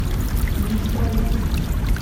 неисправимый